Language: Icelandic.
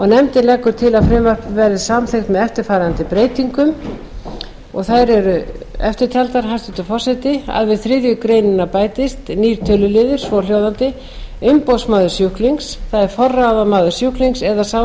nefndin leggur til að frumvarpið verði samþykkt með eftirfarandi breytingum þær eru eftirtaldar hæstvirtur forseti fyrstu við þriðju grein við bætist nýr töluliður svohljóðandi umboðsmaður sjúklings forráðamaður sjúklings eða sá